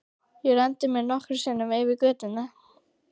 Ég renndi mér nokkrum sinnum eftir götunni.